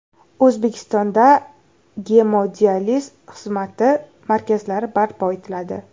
O‘zbekistonda gemodializ xizmati markazlari barpo etiladi.